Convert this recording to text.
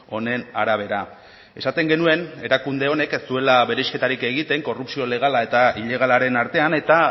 honen arabera esaten genuen erakunde honek ez zuela bereizketarik egiten korrupzio legala eta ilegalaren artean eta